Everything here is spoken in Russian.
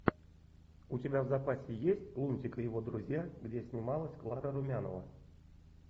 у тебя в запасе есть лунтик и его друзья где снималась клара румянова